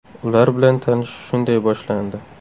Ular bilan tanishish shunday boshlandi.